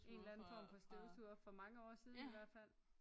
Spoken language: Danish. En eller anden form for støvsuger for mange år siden i hvert fald